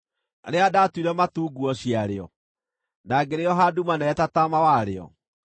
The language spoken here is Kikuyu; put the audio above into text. rĩrĩa ndatuire matu nguo ciarĩo, na ngĩrĩoha nduma nene ta taama warĩo,